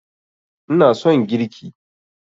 ina son girki